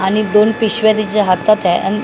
आणि दोन पिशव्या तिच्या हातात आहे आन --